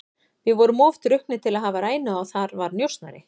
Við vorum of drukknir til að hafa rænu á að þar var njósnari.